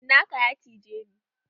Cinaka ya cije ni.